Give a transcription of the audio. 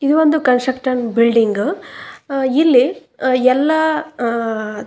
ಅದನ್ನೆಲ್ಲ ಕೇಳಿಕೊಳ್ಳುತ್ತಾ ನಿಂತಿದ್ದಾರೆ ಅವರ ಸಲಹೆಗಳನ್ನ ಸ್ವೀಕರಿಸ್ತಾ ಇದ್ದಾರೆ ಹ ಇಲ್ಲಿ ಹ್ಮ್--